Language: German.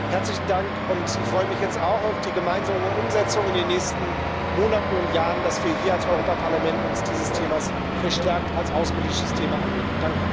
Herzlichen Dank, und ich freue mich jetzt auch auf die gemeinsame Umsetzung in den nächsten Monaten und Jahren, dass wir als Europäisches Parlament uns hier dieses Themas verstärkt als außenpolitisches Thema annehmen.